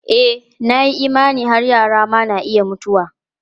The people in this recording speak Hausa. E, na yi imani har yara ma na iya mutuwa.